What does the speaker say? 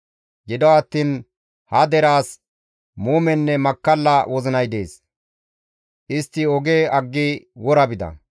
Gido attiin ha deraas muumenne makkalla wozinay dees; Istti oge aggi wora bida.